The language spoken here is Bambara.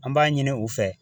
An b'a ɲini u fɛ.